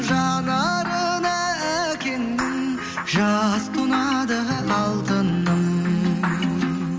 жанарына әкеңнің жас тұнады алтыным